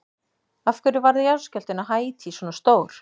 Af hverju varð jarðskjálftinn á Haítí svona stór?